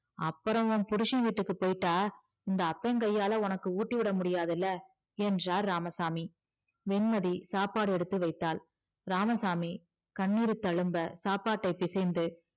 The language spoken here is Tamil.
அப்பறம் உன் புருஷன் வீட்டுக்கு போயிட்டா இந்த அப்பன் கையாள உனக்கு ஊட்டி விட முடியாதில்ல என்றார் இராமசாமி வெண்மதி சாப்பாடு எடுத்து வைத்தாள் இராமசாமி கண்ணீர் தளும்ப சாப்பாட்டை பிசைந்து